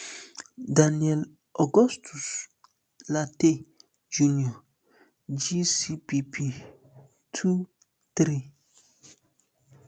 daniel augustus lartey jnr gcpp um two three